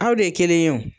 Aw de ye kelen ye o